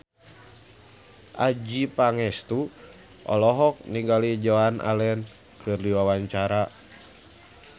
Adjie Pangestu olohok ningali Joan Allen keur diwawancara